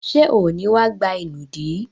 Ṣé ò ní wá gba ìnùdí?